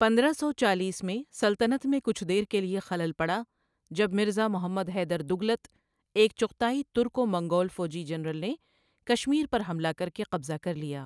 پندرہ سو چالیس میں، سلطنت میں کچھ دیر کے لیے خلل پڑا جب مرزا محمد حیدر دگلت، ایک چغتائی ترکو منگول فوجی جنرل نے کشمیر پر حملہ کر کے قبضہ کر لیا۔